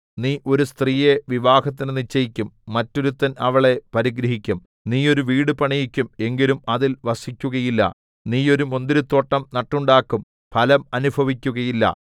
നീ ഒരു സ്ത്രീയെ വിവാഹത്തിന് നിശ്ചയിക്കും മറ്റൊരുത്തൻ അവളെ പരിഗ്രഹിക്കും നീ ഒരു വീട് പണിയിക്കും എങ്കിലും അതിൽ വസിക്കുകയില്ല നീ ഒരു മുന്തിരിത്തോട്ടം നട്ടുണ്ടാക്കും ഫലം അനുഭവിക്കുകയില്ല